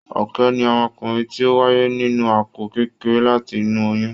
Ọ̀kẹ́ ni ọmọkùnrin ti o wáyé nínú àpò kékeré láti inú oyún.